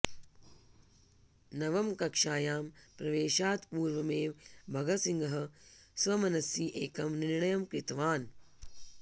नवमकक्षायां प्रवेशात् पूर्वमेव भगतसिंहः स्वमनसि एकं निर्णयं कृतवान्